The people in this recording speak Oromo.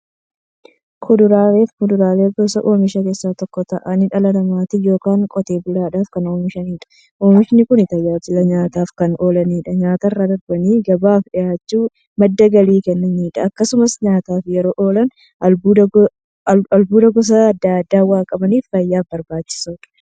Kuduraafi muduraan gosa oomishaa keessaa tokko ta'anii, dhala namaatin yookiin Qotee bulaadhan kan oomishamaniidha. Oomishni Kunis, tajaajila nyaataf kan oolaniifi nyaatarra darbanii gabaaf dhiyaachuun madda galii kan kennaniidha. Akkasumas nyaataf yeroo oolan, albuuda gosa adda addaa waan qabaniif, fayyaaf barbaachisoodha.